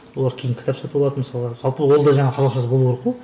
олар кейін кітап сатып алады мысалы жалпы ол да жаңағы қазақшасы болу керек қой